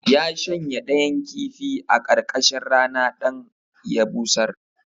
Ya shanya ɗayan kifi a ƙarƙashin rana dan ya busar